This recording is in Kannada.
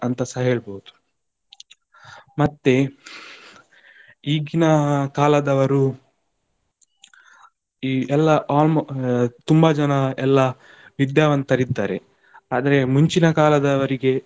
ಅಂತಸ ಹೇಳ್ಬಹುದು ಮತ್ತೆ ಈಗಿನ ಕಾಲದವರು, ಈ ಎಲ್ಲಾ almo~ ತುಂಬಾ ಜನ ಎಲ್ಲಾ ವಿದ್ಯಾವಂತರು ಇದ್ದಾರೆ ಆದರೆ ಮುಂಚಿನ ಕಾಲದವರಿಗೆ.